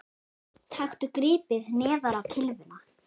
Taktu gripið neðar á kylfuna